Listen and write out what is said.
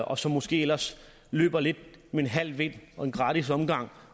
og som måske ellers løber lidt med en halv vind og en gratis omgang